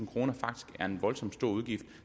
kroner faktisk er en voldsom stor udgift